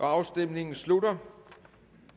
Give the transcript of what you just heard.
afstemningen slutter